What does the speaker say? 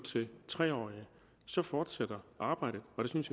tre årige så fortsætter arbejdet og jeg synes